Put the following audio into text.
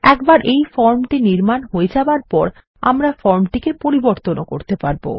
একবার এই ফর্মটি নির্মান হয়ে যাবার পর আমরা ফর্মটি পরিবর্তন ও করতে পারবো